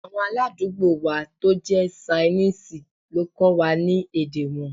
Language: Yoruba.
Awọn aládùúgbò wa to jẹ̀ sainiisi lo kọ́ wa ni èdè wọn